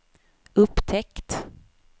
upptäckt